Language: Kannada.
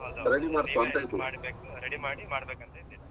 ಅದ್ ಹೌದು ready ಮಾಡ್ಬೇಕು, ready ಮಾಡಿ ಮಾಡ್ಬೇಕಂತ ಇದ್ದೇವೆ.